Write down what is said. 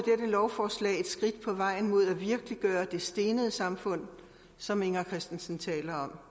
lovforslag et skridt på vejen mod at virkeliggøre det stenede samfund som inger christensen taler om